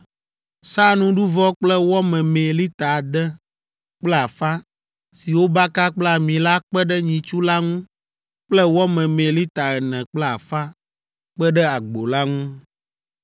Sa nuɖuvɔ kple wɔ memee lita ade kple afã si wobaka kple ami la kpe ɖe nyitsu la ŋu kple wɔ memee lita ene kple afã kpe ɖe agbo la ŋu,